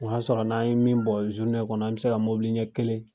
O y'a sɔrɔ n'an ye min bɔn kɔnɔ, an be se ka mobili ɲɛ kelen